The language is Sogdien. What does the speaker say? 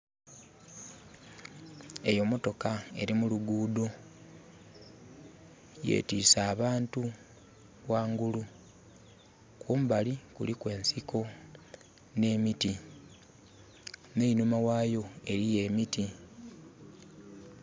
Eyo mmotoka eri muluguudo, yetiise abantu wangulu. Kumbali kuliku ensiko ne miti. Neinhuma wayo waliyo emiti